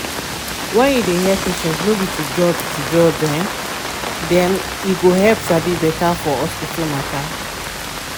when you dey hear patients no be to judge to judge um dem e go um help sabi beta for hospital matter